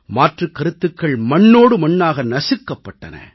மாற்றுக் கருத்துக்கள் மண்ணோடு மண்ணாக நசுக்கப்பட்டன